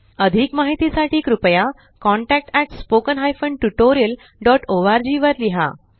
अधिक माहिती साठी कृपया contactspoken tutorialorg वर लिहा